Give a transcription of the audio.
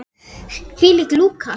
Hvílík lúka!